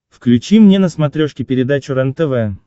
включи мне на смотрешке передачу рентв